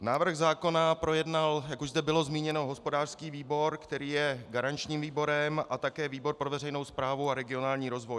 Návrh zákona projednal, jak už zde bylo zmíněno, hospodářský výbor, který je garančním výborem, a také výbor pro veřejnou správu a regionální rozvoj.